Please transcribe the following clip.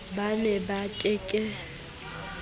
ba ne ba ke ke